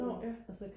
nåh ja